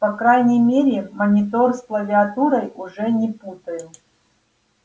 по крайней мере монитор с клавиатурой уже не путаю